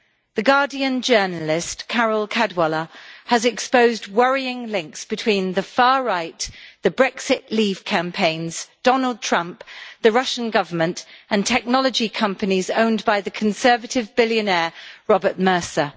The Guardian journalist Carole Cadwalladr has exposed worrying links between the far right, the Brexit Leave campaigns, Donald Trump, the Russian Government and technology companies owned by the Conservative billionaire Robert Mercer.